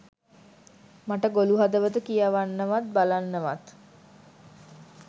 මට ගොළු හදවත කියවන්නවත් බලන්නවත්